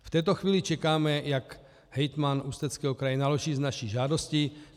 V této chvíli čekáme, jak hejtman Ústeckého kraje naloží s naší žádostí.